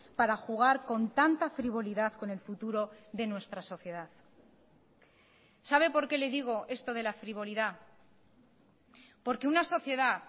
para jugar con tanta frivolidad con el futuro de nuestra sociedad sabe por qué le digo esto de la frivolidad porque una sociedad